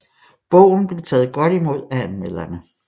Bogen blev taget godt imod af anmelderne